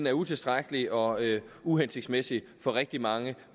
er utilstrækkelig og uhensigtsmæssig for rigtig mange